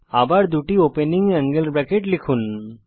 আবার দুটি opening angle bracket লিখুন